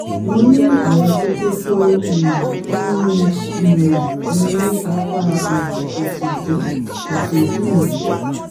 mo ní àwọn kókó tó um ń yún um mí ní apá um òsì ìdí òsì ìdí mi